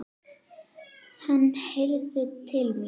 Hann heyrði til mín.